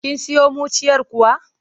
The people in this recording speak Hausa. Kun siyo muciyar kuwa?